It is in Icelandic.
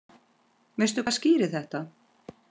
Veistu hvað skýrir þetta?